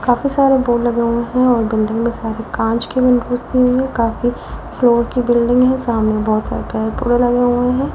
काफी सारे बोर्ड लगे हुए हैं और बिल्डिंग में सारी कांच की विंडोज दी हुई है काफी फ्लोर की बिल्डिंग है सामने बहुत सारे पेड़ पोधे लगे हुए हैं।